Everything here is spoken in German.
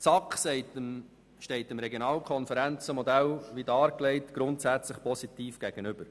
Die SAK steht dem dargelegten Regionalkonferenzmodell grundsätzlich positiv gegenüber.